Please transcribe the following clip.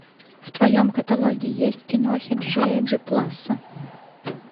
в твоем каталоге есть кинохи джея дюпласса